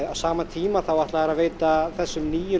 á sama tíma ætla þeir að veita þessum nýju